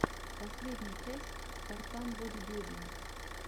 последняя часть спартан бодибилдинг